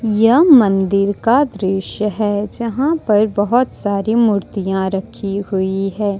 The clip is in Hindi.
यह मंदिर का दृश्य है जहां पर बहोत सारी मूर्तियां रखी हुई है।